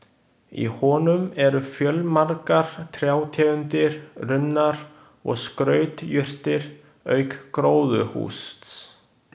Í honum eru fjölmargar trjátegundir, runnar og skrautjurtir auk gróðurhúss.